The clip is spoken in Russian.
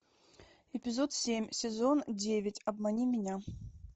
эпизод семь сезон девять обмани меня